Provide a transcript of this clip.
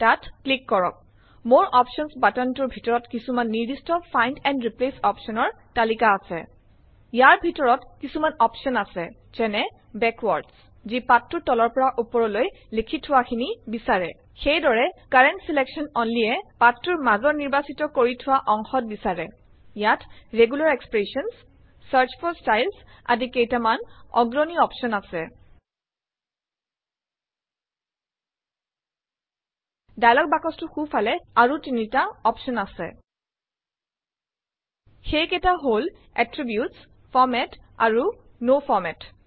তাত ক্লিক কৰক মৰে অপশ্যনছ বাট্ন টোৰ ভিতৰত কিচুমান নিৰ্দিস্ত ফাইণ্ড এণ্ড ৰিপ্লেচ অপচনৰ তালিকা আচে ইয়াৰ ভিতৰত কিছুমান অপশ্যন আছে যেনে - বেকৱাৰ্ডছ যি পাঠটোৰ তলৰ পৰা ওপৰলৈ লিখি থোৱাখিনি বিচাৰে সেইদৰে কাৰেণ্ট ছিলেকশ্যন only এ পাঠটোৰ মাজৰ নিৰ্বাচিত কৰি থোৱা অংশত বিচাৰে ইয়াত regular expressions search for styles আদি কেইটামান অগ্ৰণী এডভাঞ্চড অপশ্যন আছে ডায়লগ বাকচটোৰ সোঁফালে আৰু তিনিটা অপশ্যন আছে সেইকেইটা হল - এট্ৰিবিউটছ ফৰমাত আৰু ন ফৰমাত